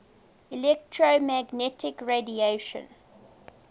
electromagnetic radiation